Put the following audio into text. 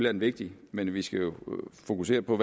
er det vigtigt men vi skal jo fokusere på